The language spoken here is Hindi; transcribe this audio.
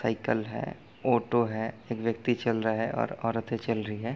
साइकिल है ऑटो है एक व्यक्ति चल रहा है और औरते चल रही है ।